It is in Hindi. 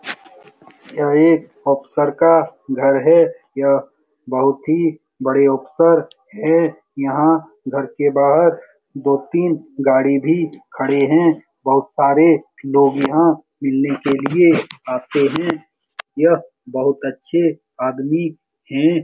यह एक ऑफिसर का घर है यह बहुत ही बड़े ऑफिसर है यह घर के बाहर दो तीन गाड़ी भी खड़े हैं बहुत सारे लोग यहाँ मिलने के लिए आते हैं यह बहुत अच्छे आदमी है ।